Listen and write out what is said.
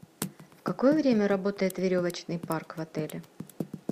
в какое время работает веревочный парк в отеле